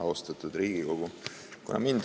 Austatud Riigikogu!